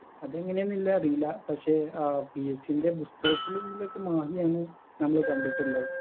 അതെങ്ങനെയാന്നില്ലെ അറീല പക്ഷെ ആ PSC ന്റെ പുസ്തകത്തിലില്ലതൊക്കെ മാഹിയാണ് നമ്മള് കണ്ടിട്ടുള്ളത്